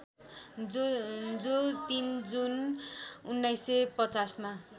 जो ३ जुन १९५०मा